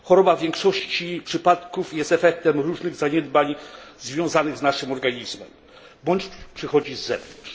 W większości przypadków choroba jest efektem różnych zaniedbań związanych z naszym organizmem bądź przychodzi z zewnątrz.